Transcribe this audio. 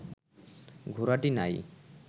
ঘোড়াটি নাই